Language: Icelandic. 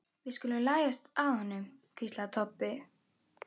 Við skulum læðast að honum, hvíslaði Kobbi.